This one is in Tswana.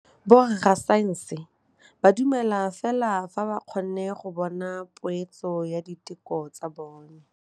Borra saense ba dumela fela fa ba kgonne go bona poeletsô ya diteko tsa bone.